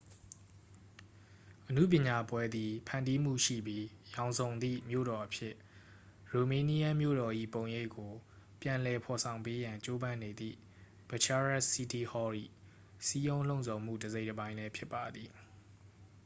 အနုပညာပွဲသည် ဖန်တီးမှုရှိပြီး ရောင်စုံသည့် မြို့တော်အဖြစ် ရိုမေးနီးယန်းမြို့တော်၏ ပုံရိပ်ကို ပြန်လည်ဖော်ဆောင်ပေးရန် ကြိုးပမ်းနေသည့် bucharest city hall ၏ စည်းရုံးလှုံ့ဆော်မှု တစ်စိတ်တစ်ပိုင်းလည်း ဖြစ်ပါသည်